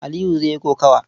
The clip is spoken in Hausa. Aliyu zai yi kokawa.